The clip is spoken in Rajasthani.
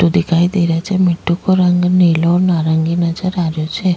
मिट्ठू दिखाई दे रहियो छे मिट्ठू को रंग नीलाे और नारंगी नजर आ रहियो छे।